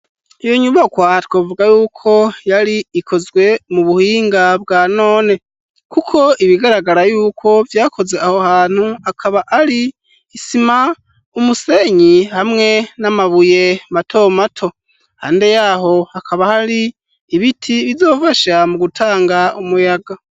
Iyo nyubakwa twovuga yuko yari ikozwe mu buhinga bwa none kuko ibigaragara yuko vyakoze aho hantu, akaba ari isima, umusenyi hamwe n'amabuye mato mato. Haruhande yaho hakaba hari ibiti bizofasha mu gutanga umuyaga.